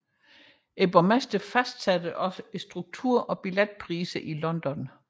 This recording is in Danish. Borgmesteren fastsætter også strukturen og billetpriserne i London